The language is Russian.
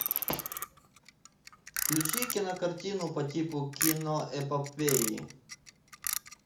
включи кинокартину по типу киноэпопеи